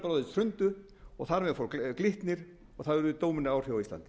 hrundu og þar með fór glitnir og það hafði dómínóáhrif á íslandi